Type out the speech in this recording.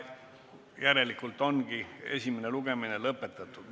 Esimene lugemine on lõpetatud.